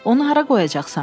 Onu hara qoyacaqsan?